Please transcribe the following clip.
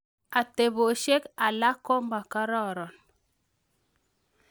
Atebesiok alak komakararan